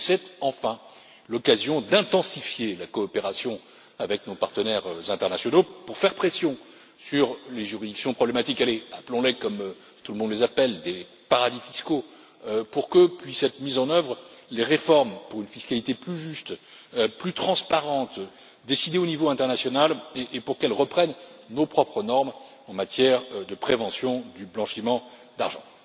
Et c'est, enfin, l'occasion d'intensifier la coopération avec nos partenaires internationaux pour faire pression sur les juridictions problématiques appelons les comme tout le monde les appelle, des paradis fiscaux pour que puissent être mises en œuvre les réformes pour une fiscalité plus juste, plus transparente, décidée au niveau international, et pour qu'elles reprennent nos propres normes en matière de prévention du blanchiment d'argent.